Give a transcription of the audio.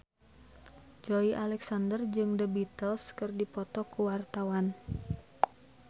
Joey Alexander jeung The Beatles keur dipoto ku wartawan